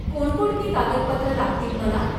कोणकोणती कागदपत्र लागतील मला?